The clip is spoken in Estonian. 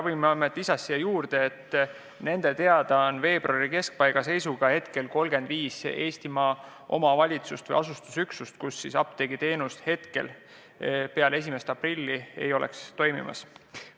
Ravimiameti esindaja lisas sinna juurde, et nende teada oli veebruari keskpaiga seisuga 35 Eestimaa omavalitsust või asustusüksust, kus apteegiteenust peale 1. aprilli ei osutataks.